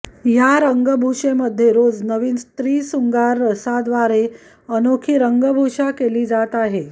या रंगभूषेमध्ये रोज नवीन स्त्री शृंगार रसा द्वारे अनोखी रंगभूषा केली जात आहे